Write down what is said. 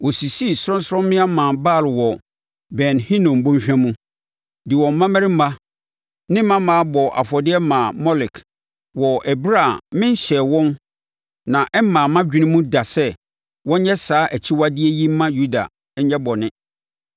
Wɔsisii sorɔnsorɔmmea maa Baal wɔ Ben Hinom bɔnhwa mu, de wɔn mmammarima ne mmammaa bɔɔ afɔdeɛ maa Molek, wɔ ɛberɛ a menhyɛɛ wɔn na ɛmmaa mʼadwene mu da sɛ wɔnyɛ saa akyiwadeɛ yi mma Yuda nyɛ bɔne.